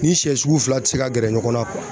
Ni sɛ sugu fila ti se ka gɛrɛ ɲɔgɔn na